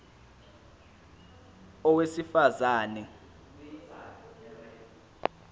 a owesifaz ane